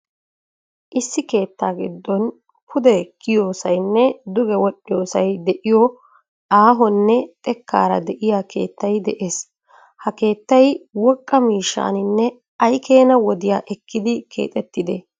Issi keetta giddon pude kiyiyoosaynne duge wol"iyoosay de"iyoo aahonne xekkaara de"iyaa keettay de'ees. Ha keettay woqqa miishshaaninne ay keena wodiya ekkidi keexettide?